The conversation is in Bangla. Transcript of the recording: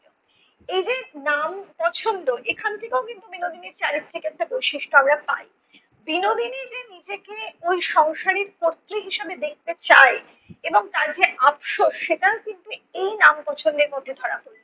এইযে নাম পছন্দ এখান থেকেও কিন্তু বিনোদিনীর চারিত্রিক একটা বৈশিষ্ট্য আমরা পাই। বিনোদিনী যে নিজেকে ওই সংসারের কর্ত্রী হিসেবে দেখতে চায় এবং তার যে আফসোস সেটা কিন্তু এই নাম পছন্দের মধ্যে ধরা পড়লো।